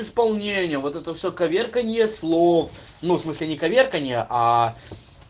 исполнение вот это всё коверканье слов ну в смысле не коверканье а